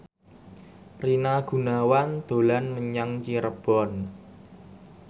Rina Gunawan dolan menyang Cirebon